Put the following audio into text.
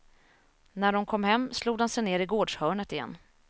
När de kom hem, slog de sig ner i gårdshörnet igen.